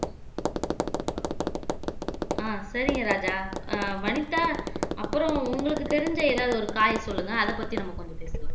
ஆஹ் சரிங்க ராஜா ஆஹ் வனிதா அப்புறம் உங்களுக்கு தெரிஞ்ச ஏதாவது ஒரு காய் சொல்லுங்க அதை பத்தி நம்ம கொஞ்சம் பேசலாம்